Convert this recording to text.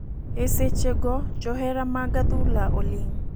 E seche go johera mag adhula oling' .